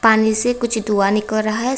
पानी से कुछ दुआ निकल रहा है।